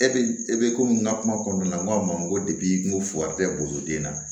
E bɛ e bɛ komi n ka kuma kɔnɔna n ko a ma n ko n ko fo ka tɛ boli den na